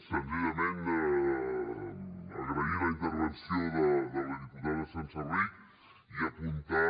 senzillament agrair la intervenció de la diputada senserrich i apuntar